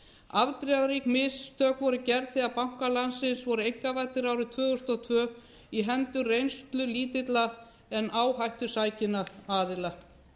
afdrifarík mistök voru gerð þegar bankar landsins voru einkavæddir árið tvö þúsund og tvö í hendur reynslulítilla en áhættusækinna aðila